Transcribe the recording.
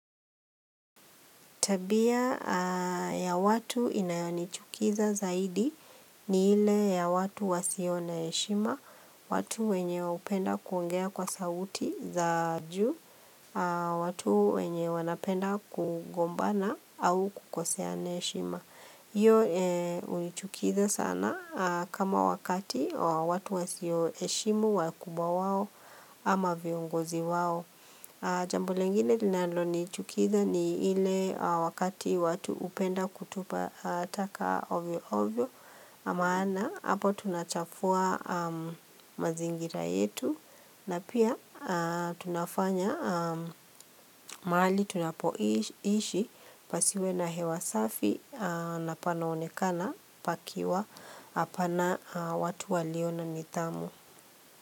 Tabia ya watu inayo nichukiza zaidi ni ile ya watu wasio na heshima, watu wenye hupenda kuongea kwa sauti za juu, watu wenye wanapenda kugombana au kukoseana heshima. Iyo unichukiza sana kama wakati watu wasio heshimu wakubwa wao ama viongozi wao. Jambo lingine linalo nichukiza ni ile wakati watu hupenda kutupa taka ovyo ovyo. Maana hapo tunachafua mazingira yetu na pia tunafanya mahali tunapoishi pasiwe na hewa safi na panaonekana pakiwa hapana watu walio na nitdhamu.